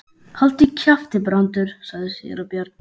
Haltu kjafti, Brandur, sagði síra Björn.